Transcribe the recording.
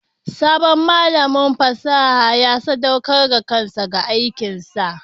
Sabon malamin fasaha ya sadaukar da kansa ga aikinsa.